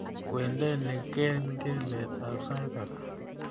Kwendeni kengeletab sait ata